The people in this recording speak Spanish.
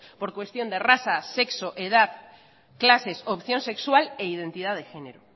por cuestión de raza sexo edad clases opción sexual e identidad de género